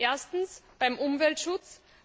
Erstens beim Umweltschutz.